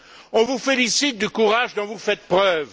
On vous félicite du courage dont vous faites preuve.